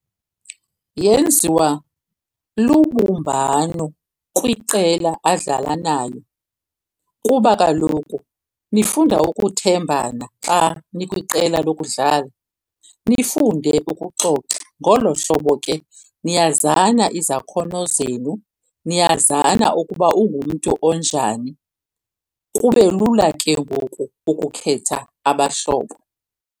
Yenziwa lubumbano kwiqela adlala nalo kuba kaloku nifunda ukuthembana xa nikwiqela lokudlala, nifunde ukuxoxa. Ngolo hlobo ke niyazana izakhono zenu, niyazana ukuba ungumntu onjani. Kube lula ke ngoku ukukhetha abahlobo.